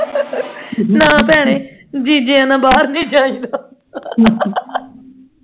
ਨਾ ਭੈਣੇ ਜਿਜੇ ਆਂ ਦੇ ਨਾਲ ਬਾਹਰ ਨਹੀਂ ਜਾਈਦਾ